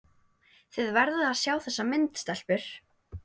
Þið verðið að sjá þessa mynd, stelpur!